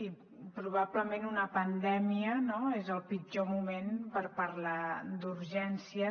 i probablement una pandèmia no és el pitjor moment per parlar d’urgències